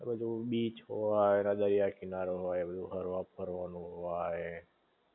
બધુ બીચ હોય ને દરિયા કિનારો હોય ન બધુ ફરવા બરવા નું હોય